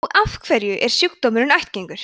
og af hverju er sjúkdómurinn ættgengur